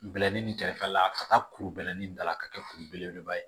Bɛlɛnin kɛrɛfɛla ka taa kuru bɛlɛnin dala ka kɛ kuru belebeleba ye